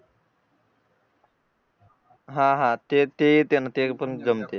हा हा ते पण जमते